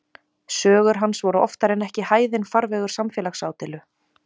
Sögur hans voru oftar en ekki hæðinn farvegur samfélagsádeilu.